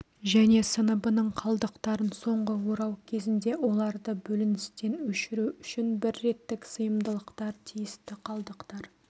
және сыныбының қалдықтарын соңғы орау кезінде оларды бөліністен өшіру үшін бір реттік сыйымдылықтар тиісті қалдықтар